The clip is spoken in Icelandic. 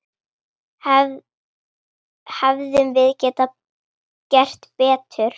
Hefðum við getað gert betur?